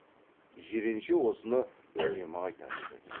жиренше осыны үнемі айта жүретін